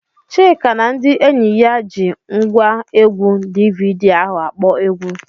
Chika na ndị enyi ya ji ngwaegwu DVD ahụ akpọ egwu.